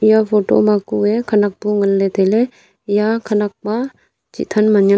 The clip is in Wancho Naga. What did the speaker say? eya photo ma kue khenak bu nganley tailey eya khenak ma chih than man ngan.